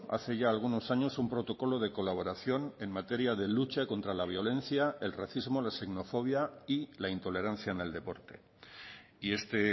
hace ya algunos años un protocolo de colaboración en materia de lucha contra la violencia el racismo la xenofobia y la intolerancia en el deporte y este